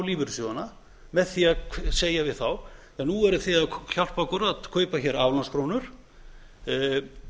lífeyrissjóðina með því að segja við þá nú eruð þið að hjálpa okkur að kaupa aflandskrónur annars þurfum